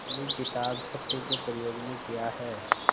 अपनी किताब सत्य के प्रयोग में किया है